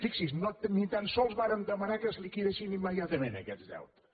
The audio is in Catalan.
fixi’s ni tan sols vàrem demanar que es liquidessin immediatament aquests deutes